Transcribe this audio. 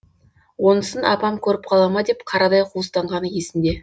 онысын апам көріп қала ма деп қарадай қуыстанғаны есінде